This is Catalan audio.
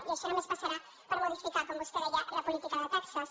i això només passarà per modificar com vostè deia la política de taxes